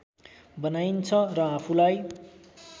बनाइन्छ र आफूलाई